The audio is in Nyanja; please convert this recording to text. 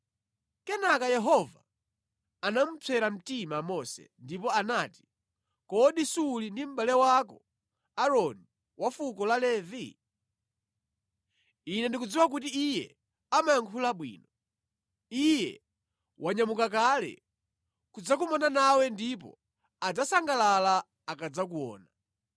Kenaka Yehova anamupsera mtima Mose ndipo anati, “Kodi suli ndi mʼbale wako Aaroni wa fuko la Levi? Ine ndikudziwa kuti iye amayankhula bwino. Iye wanyamuka kale kudzakumana nawe ndipo adzasangalala akadzakuona.